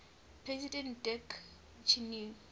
president dick cheney